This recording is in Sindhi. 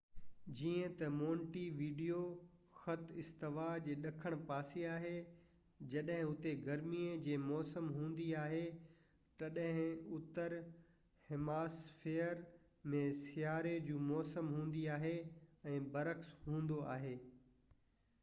جيئن تہ مونٽي ويڊيو خط استوا جي ڏکڻ پاسي آهي جڏهن اتي گرمي جي موسم هوندي آهي تڏهن اتر هيمسفئير ۾ سياروي جي موسم هوندي آهي ۽ برعڪس هوندو آهي